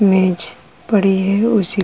मेज पड़ी है उसी --